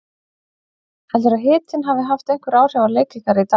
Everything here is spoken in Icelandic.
Heldurðu að hitinn hafi haft einhver áhrif á leik ykkar í dag?